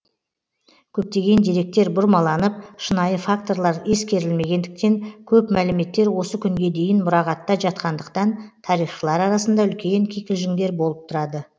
көптеген деректер бұрмаланып шынайы факторлар ескерілмегендіктен көп мәліметтер осы күнге дейін мұрағатта жатқандықтан тарихшылар арасында үлкен кикілжіңдер болып тұрады